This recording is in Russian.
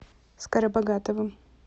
скоробогатовым